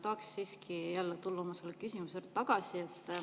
Tahan siiski tulla oma küsimuse juurde tagasi.